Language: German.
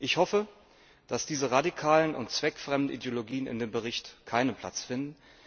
Ich hoffe, dass diese radikalen und zweckfremden Ideologien in dem Bericht keinen Platz finden.